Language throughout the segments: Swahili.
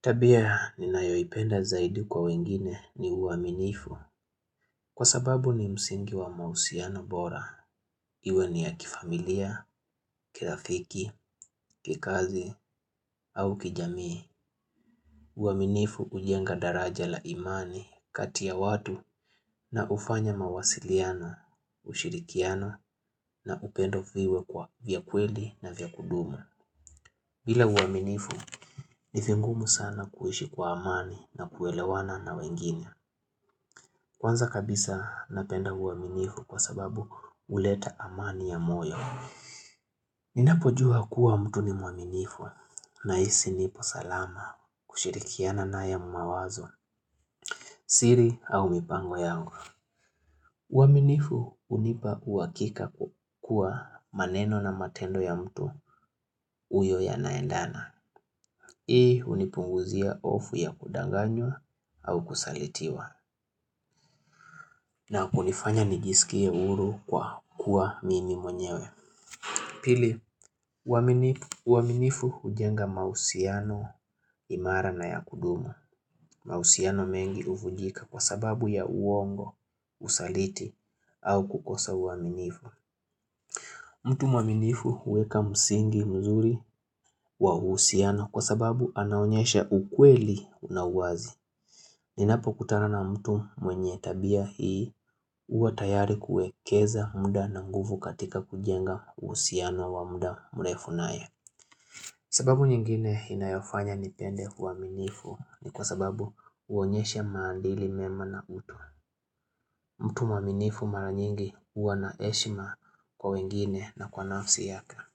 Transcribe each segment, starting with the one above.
Tabia ninayoipenda zaidi kwa wengine ni uaminifu kwa sababu ni msingi wa mahusiano bora. Iwe ni ya kifamilia, kirafiki, kikazi au kijamii. Uaminifu hujenga daraja la imani kati ya watu na hufanya mawasiliano, ushirikiano na upendo viwe kwa vya kweli na vya kudumu. Bila uaminifu ni vingumu sana kuishi kwa amani na kuelewana na wengine. Kwanza kabisa napenda uaminifu kwa sababu huleta amani ya moyo. Ninapojua kuwa mtu ni mwaminifu nahisi nipo salama kushirikiana naye mawazo siri au mipango yangu. Uaminifu hunipa uhakika kuwa maneno na matendo ya mtu uyo yanaendana. Hii hunipunguzia hofu ya kudanganywa au kusalitiwa. Na kunifanya nijisikie huru kwa kuwa mimi mwenyewe Pili, uaminifu hujenga mahusiano imara na ya kudumu mahusiano mengi huvunjika kwa sababu ya uongo, usaliti au kukosa uaminifu mtu mwaminifu huweka msingi mzuri wa uhusiano kwa sababu anaonyesha ukweli unawazi Ninapo kutana na mtu mwenye tabia hii huwa tayari kuekeza mda na nguvu katika kujenga uhusiano wa mda mrefu naye sababu nyingine inayofanya nipende uaminifu ni kwa sababu huonyesha maadili mema na utu mtu mwaminifu mara nyingi huwa na heshima kwa wengine na kwa nafsi yaka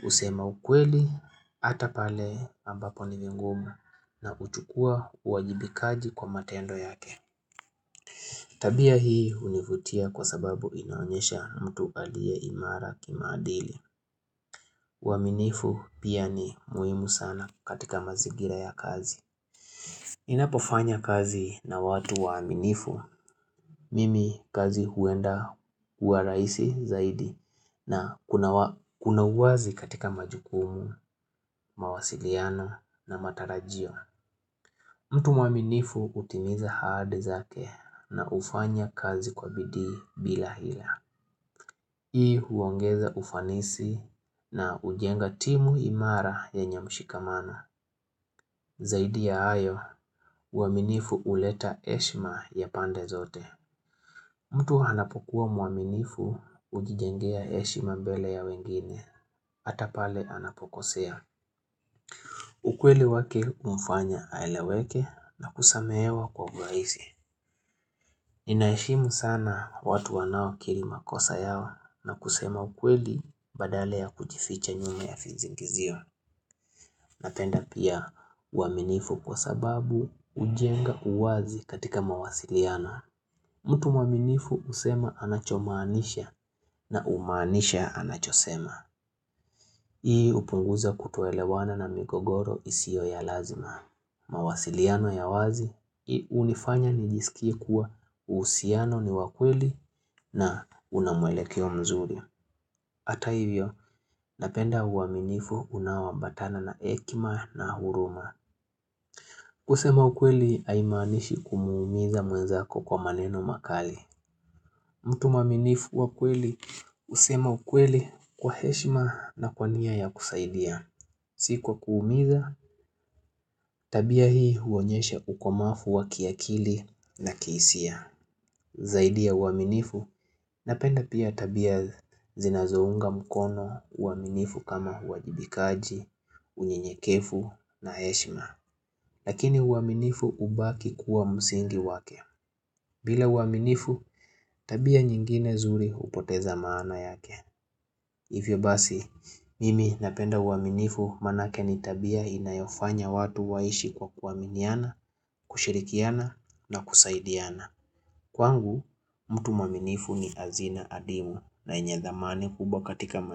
kusema ukweli ata pale ambapo ni vingumu na kuchukua uajibikaji kwa matendo yake Tabia hii hunivutia kwa sababu inaonyesha mtu alie imara kimaadili. Uaminifu pia ni muhimu sana katika mazigira ya kazi. Inapofanya kazi na watu waminifu, mimi kazi huenda huwa rahisi zaidi na kunawazi katika majukumu, mawasiliano na matarajio. Mtu mwaminifu hutimiza ahadi zake na kufanya kazi kwa bidi bila hila. Hii huongeza ufanisi na hujenga timu imara yenye mshikamano zaidi ya ayo uaminifu huleta heshima ya pande zote. Mtu anapokuwa mwaminifu hujijengea heshima mbele ya wengine, hata pale anapokosea. Ukweli wake humfanya aleweke na kusamehewa kwa urahisi. Ninaheshimu sana watu wanaokiri makosa yao na kusema ukweli badala ya kujificha nyuma ya vizingizio. Napenda pia uaminifu kwa sababu hujenga uwazi katika mawasiliano. Mtu mwaminifu husema anachomaanisha na umanisha anachosema. Hii hupunguza kutoelewana na migogoro isiyo ya lazima. Mawasiliano ya wazi, hunifanya nijisikie kuwa uhusiano ni wakweli na unamwelekeo mzuri hata hivyo, napenda uaminifu unaoambatana na hekima na huruma kusema ukweli haimanishi kumuumiza mwenzako kwa maneno makali mtu mwaminifu wa kweli, husema ukweli kwa heshima na kwania ya kusaidia Sikwa kuumiza, tabia hii huonyesha ukomavu wa kiakili na kihisia Zaidi ya uaminifu, napenda pia tabia zinazounga mkono uaminifu kama huajibikaji, unyenyekevu na heshima Lakini uaminifu hubaki kuwa msingi wake bila uaminifu, tabia nyingine zuri upoteza maana yake Hivyo basi, mimi napenda uaminifu manake nitabia inayofanya watu waishi kwa kuaminiana, kushirikiana na kusaidiana. Kwangu, mtu mwaminifu ni azina adimu na yenye thamani kubwa katika maisha.